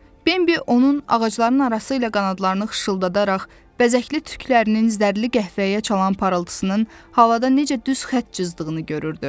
Bembi onun ağacların arası ilə qanadlarını xışıldadaraq, bəzəkli tüklərinin zərli qəhvəyə çalan parıltısının havada necə düz xətt cızdığını görürdü.